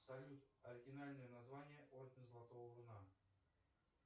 салют оригинальное название орден золотого руна